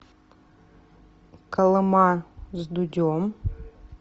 колыма с дудем